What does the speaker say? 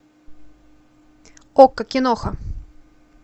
окко киноха